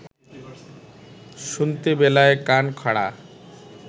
শুনতে বেলায় কান খাড়া